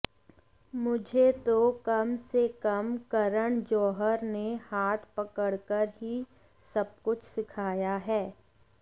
मुझे तो कम से कम करण जौहर ने हाथ पकड़कर ही सबकुछ सिखाया है